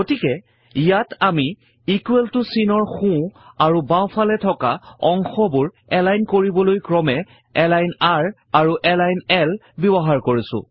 গতিকে ইয়াত আমি ইকোৱেল ত চিনৰ সোঁ আৰু বাওঁফলে থকা অংশবোৰ এলাইন কৰিবলৈ ক্ৰমে এলাইন r আৰু এলাইন l ব্যৱহাৰ কৰিছো